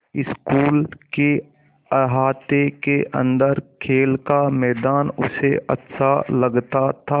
school के अहाते के अन्दर खेल का मैदान उसे अच्छा लगता था